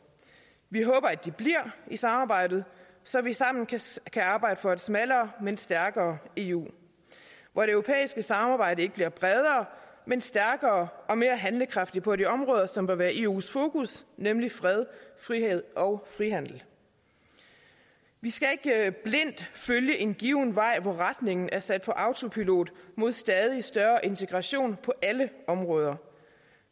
vi håber de bliver i samarbejdet så vi sammen kan arbejde for et smallere men stærkere eu hvor det europæiske samarbejde ikke bliver bredere men stærkere og mere handlekraftigt på de områder som vil være i eus fokus nemlig fred frihed og frihandel vi skal ikke blindt følge en given vej hvor retningen er sat på autopilot mod stadig større integration på alle områder